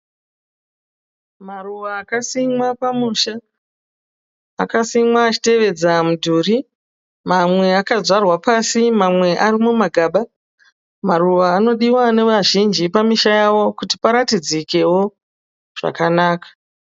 Maruva akasimwa pamusha. Akasimwa achitevedza mudhuri. Mamwe akadyarwa pasi mamwe arimumagaba. Maruva anodiwa nevazhinji pamusha yavo kuti paratidzikewo zvakanaka.